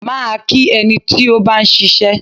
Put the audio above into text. Máa kí ẹni tí ó bá ń ṣiṣẹ́.